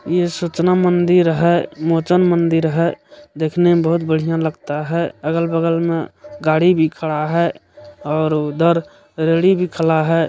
यह सूचना मंदिर है मोचन मंदिर है देखने में बहुत बढ़िया लगता है अगल-बगल में गाड़ी भी खड़ा है और उधर रेड़ी भी खड़ा है।